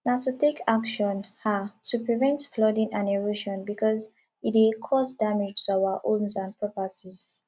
na to take action um to prevent flooding and erosion because e dey cause damage to our homes and properties